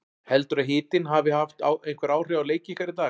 Heldurðu að hitinn hafi haft einhver áhrif á leik ykkar í dag?